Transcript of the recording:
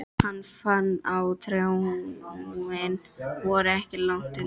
Hann fann að tárin voru ekki langt undan.